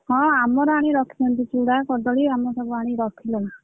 ହଁ ଆମର ଆଣି ରଖିଛନ୍ତି ଚୂଡା କଦଳୀ ଆମର ସବୁ ଆଣି ରଖିଲେଣି।